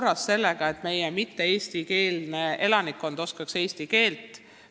Kas sellega on täna kõik korras?